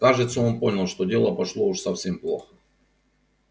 кажется он понял что дело пошло уж совсем плохо